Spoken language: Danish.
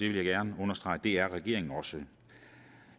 vil gerne understrege at det er regeringen også